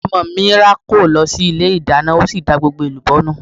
Ọmọ mi rákò lọ sí ilé ìdáná ó sì da gbogbo èlùbọ́ nù.